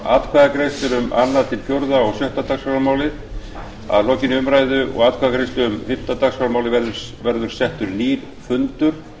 atkvæðagreiðslur um annað til fjórða og sjötta dagskrármálin að lokinni umræðu og atkvæðagreiðslu um fimmta dagskrármálið verður settur nýr fundur